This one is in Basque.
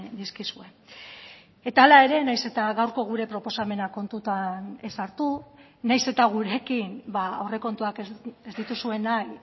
dizkizue eta hala ere nahiz eta gaurko gure proposamena kontutan ez hartu nahiz eta gurekin aurrekontuak ez dituzue nahi